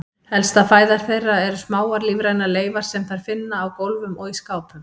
Helsta fæða þeirra eru smáar lífrænar leifar sem þær finna á gólfum og í skápum.